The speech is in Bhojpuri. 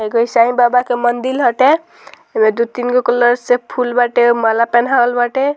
हई कोई साई बाबा के मंदिल हटे ऐमे दू-तीन गो कलर से फूल बाटे माला पेहनावल बाटे।